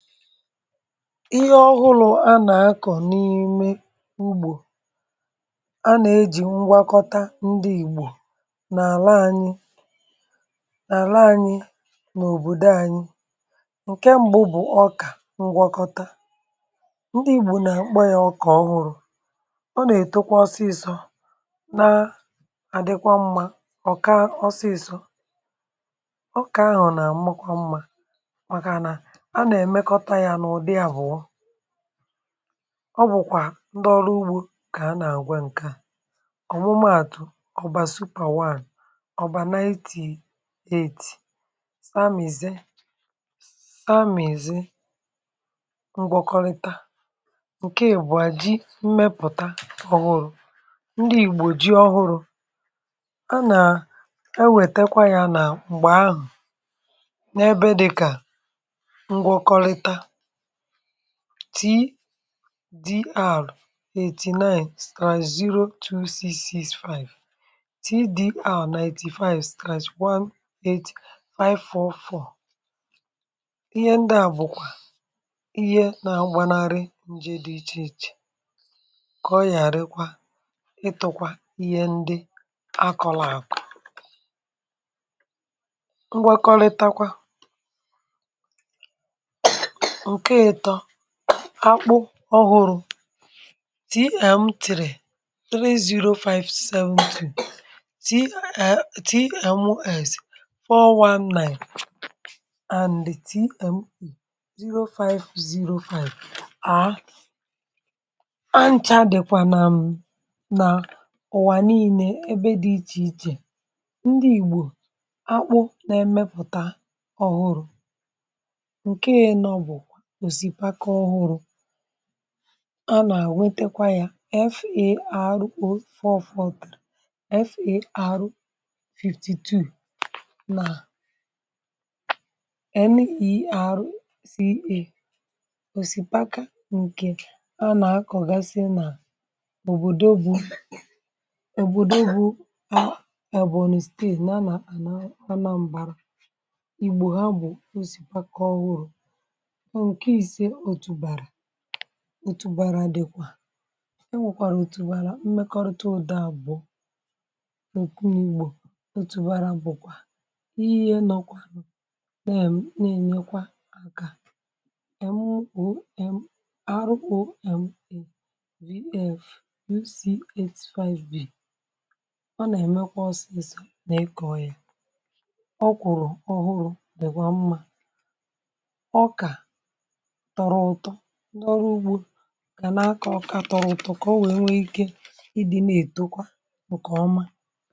ihé ọhụrụ a nà-akọ̀ n’ime ugbò a nà-ejì ngwakọta ndị ìgbò nà-àla anyị nà-àla anyị n’òbòdo anyị. Nkè mbụ bụ̀ ọkà ngwọkọta, ndị ìgbò nà-àkpọ yá ọkà ọhụrụ̇, ọ nà-èto kwa ọsịsọ̇ na-àdịkwa mmȧ, ọ̀ kaà ọsịsọ̇ ọkà ahụ̀ nà àmakwa mmȧ maka nà a ná emekọta yá nà ụdị ahụọ ọ bụ̀kwà ndị ọrụ ugbȯ kà a nà àgwa ǹke à ọ̀mụmaàtụ̀, ọ̀bà supà one, ọ̀bà ninety eight, samìze tamìze ngwakọlịta. Nke ịbụọ ji mmepụ̀ta ọ̀hụrụ̇, ndị ìgbò ji ọhụrụ̇ a nà ewète kwa yȧ nà m̀gbè ahụ̀ n’ebe dịkà ngwakọlịta tdr eighty nine slash zero two sis six five, tdr ninety five slash one eight five four four. Ihé ndị á bụ kwà ihé nà agba narị nje dị iche iche kà oyarịkwà ịtụ kwà ihé ndị a kọrọ akọ ngwakọlịta kwà. Nkè ịtọ akpụ ọhụrụ tm three three zero five seventy, tms four one nine and tm zero five zero five um ha ncha dịkwa nà nà ụwa niine ébé dị iche iche. Ndị ìgbo akpụ nà emepụta ọhụrụ, Nkè inọ bụ osipaka ọhụrụ á nà àwetekwa yȧ far oh four four three, far fifty two nà nerca òsìpaka ǹkè a nà akọ̀gasị nà òbòdò bụ òbòdò bụ a Ebonyi stati yá nà Ana Anambara igbo há bụ osipaka ọhụrụ. Nkè isé otú bàrà, otú bàrà dịkwa e nwèkwàrà òtù bàrà mmekọrịta ụ̀da àbụ̀ọ̀ i igbò òtù bàrà bụ̀kwà ihe nọkwà nụ na ènyekwa àkà m oh m r oh m v f e c eight five b, ọ ná emé kwà ọsịsọ̇ nà-ikọ̀ ya ọ kwụrụ ọhụrụ̇ dị̀kwa mmȧ, ọkà tọrọ ụtọ ndị ọrụ ugbȯ gà n’akọ ọkà tọrọ ụtọ kà o wèe nwee ike ịdị̇ nà-èto kwa ǹkè ọma.